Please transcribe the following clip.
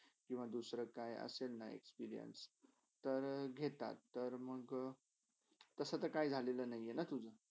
किवा दुसरा काय असेलना experience तर घेतात. तर मॅग तसा तर काही झालेला नाही आहे ना तुझा?